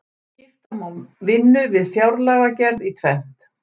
skipta má vinnu við fjárlagagerð í tvennt